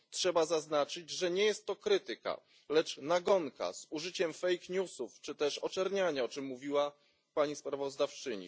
Trzeba zaznaczyć, że nie jest to krytyka, lecz nagonka z użyciem fake newsów czy też oczerniania, o czym mówiła pani sprawozdawczyni.